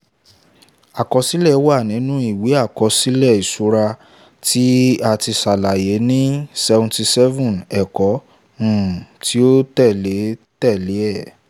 àkọsílẹ̀ wà nínu ìwé àkọsílẹ̀ ìṣura tí ati ṣàlàyé ní ---77--- ẹ̀kọ́ um tí ó tẹ̀lé tẹ̀lé e